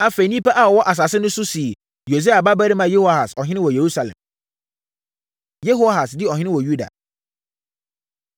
Afei, nnipa a wɔwɔ asase no so no sii Yosia babarima Yehoahas ɔhene wɔ Yerusalem. Yehoahas Di Ɔhene Wɔ Yuda